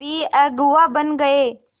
भी अगुवा बन गए